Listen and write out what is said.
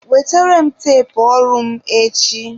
Wetere m teepu ọrụ mụ echi!